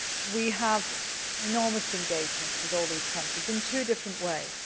We have enormous engagement with all these countries in two different ways.